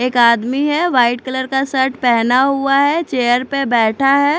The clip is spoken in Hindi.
एक आदमी है वाइट कलर का शर्ट पहना हुआ है चेयर पे बैठा है ।